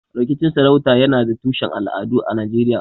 Rikicin sarauta yana da tushen al'adu a Najeriya.